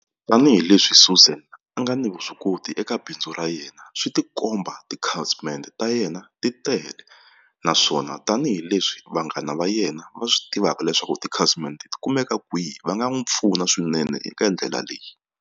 Tanihileswi Suzan a nga ni vuswikoti eka bindzu ra yena swi tikomba tikhasimende ta yena ti tele naswona tanihileswi vanghana va yena va swi tivaka leswaku tikhasimende ti kumeka kwihi va nga n'wi pfuna swinene eka ndlela leyi.